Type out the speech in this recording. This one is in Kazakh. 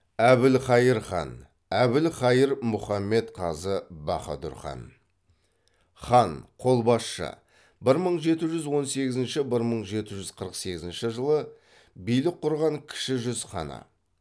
әбілқайыр хан әбілқайыр мұхаммед қазы баһадүр хан хан қолбасшы бір мың жеті жүз он сегізінші бір мың жеті жүз қырық сегізінші жылы билік құрған кіші жүз ханы